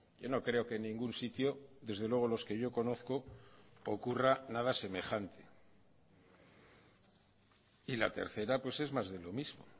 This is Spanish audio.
yo no creo que ningún sitio desde luego los que yo conozco ocurra nada semejante y la tercera pues es más de lo mismo